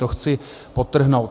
To chci podtrhnout.